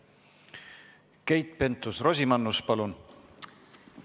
Keit Pentus-Rosimannus, palun!